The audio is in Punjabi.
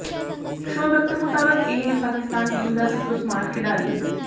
ਸ਼ੋਇਬ ਅਖਤਰ ਮੁਤਾਬਕ ਇਹ ਹੈ ਪਾਕਿਸਤਾਨ ਟੀਮ ਦਾ ਸਭ ਤੋਂ ਸਮਾਰਟ ਖਿਡਾਰੀ